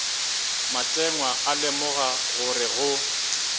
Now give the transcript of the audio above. matengwa a lemoga gore go